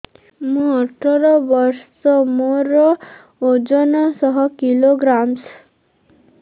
ମୁଁ ଅଠର ବର୍ଷ ମୋର ଓଜନ ଶହ କିଲୋଗ୍ରାମସ